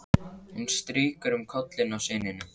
Hún strýkur um kollinn á syninum.